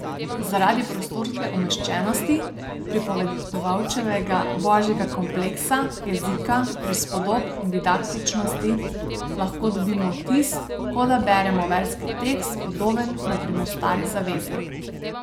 Zaradi prostorske umeščenosti, pripovedovalčevega božjega kompleksa, jezika, prispodob in didaktičnosti lahko dobimo vtis, kot da beremo verski tekst, podoben, na primer, Stari zavezi.